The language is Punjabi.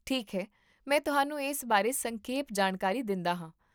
ਠੀਕ ਹੈ, ਮੈਂ ਤੁਹਾਨੂੰ ਇਸ ਬਾਰੇ ਸੰਖੇਪ ਜਾਣਕਾਰੀ ਦਿੰਦਾ ਹਾਂ